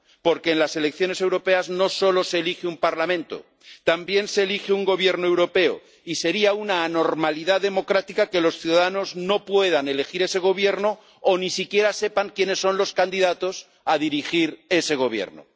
Porque en las elecciones europeas no solo se elige un Parlamento, también se elige un gobierno europeo, y sería una anormalidad democrática que los ciudadanos no puedan elegir ese gobierno o ni siquiera sepan quiénes son los candidatos a dirigir ese gobierno.